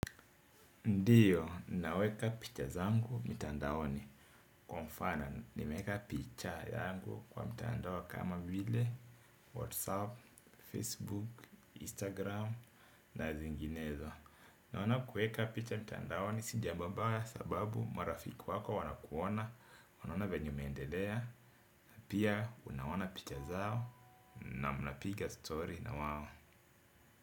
Ndiyo, ninaweka picha zangu mitandaoni kwa mfano nimeweka picha yangu kwa mitandao kama vile, Whatsapp, Facebook, Instagram, na zinginezo. Naona kuweka picha mitandao ni si jambo baya sababu marafiki wako wanakuona, wanaona venye umeendelea, na pia unaona picha zao na mnapiga story na wao.